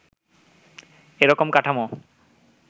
এ রকম কাঠামো